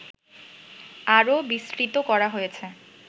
আরো বিস্তৃত করা হয়েছে